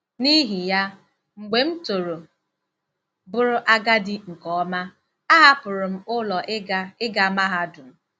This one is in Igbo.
N'ihi ya, mgbe m toro bụrụ agadi nke ọma, a hapụrụ m ụlọ ịga ịga mahadum.